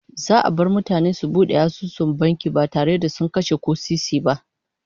Za'a bar mutane su bude asusun banki ba tare da kase ko sisi ba